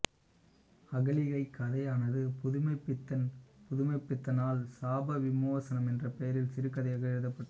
அகலிகை கதையானது புதுமைப்பித்தன்புதுமைப்பித்தனால் சாப விமோசனம் என்ற பெயரில் சிறுகதையாக எழுதப்பட்டது